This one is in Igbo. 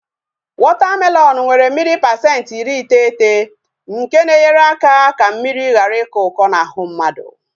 Wọta melọnu nwere mmiri pasenti iri iteghete nke na-enyere aka ka mmiri ghara ịkọ ụkọ n'ahụ mmadụ